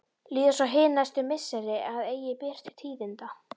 Líða svo hin næstu misseri að eigi ber til tíðinda.